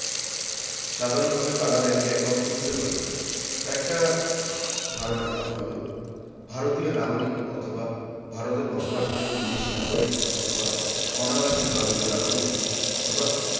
সাধারনভাবে কারা bank এ account খুলতে পারবেন একটা ধারণা দেওয়া হলো ভারতীয় নাগরিক অথবা ভারতে বসবাসকারী বিদেশী নাগরিক অথবা অনাবাসী ভারতীয় নাগরিক অথবা